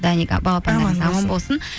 даник ы балапандарыңыз аман болсын